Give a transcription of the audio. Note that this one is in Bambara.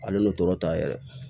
Ale n'o tɔɔrɔ ta yɛrɛ